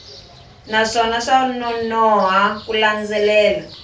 naswona swa nonoha ku landzelela